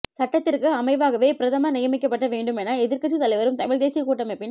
சட்டத்திற்கு அமைவாகவே பிரதமர் நியமிக்கப்பட வேண்டும் என எதிர்கட்சி தலைவரும் தமிழ் தேசிய கூட்டமைப்பின்